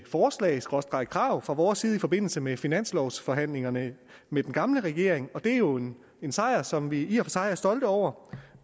forslag skråstreg krav fra vores side i forbindelse med finanslovforhandlingerne med den gamle regering og det er jo en sejr som vi i og sig er stolte over